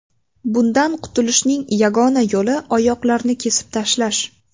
Bundan qutulishning yagona yo‘li oyoqlarni kesib tashlash.